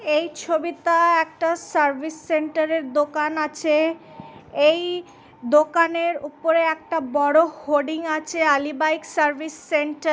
এই ছবিটা একটা সার্ভিস সেন্টার এর দোকান আছে এই দোকানের উপরে একটা বড় হোডিং আছে আলী বাইক সার্ভিস সেন্টার --